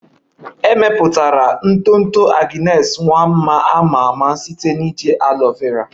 E mepụtara ntụ ntụ Agnes Nwanma a ma ama site na iji aloe vera